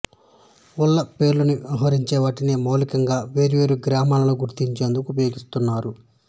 ఊళ్ళ పేర్లని వ్యవహరించే వీటిని మౌలికంగా వేర్వేరు గ్రామాలను గుర్తించేందుకు ఉపయోగిస్తారు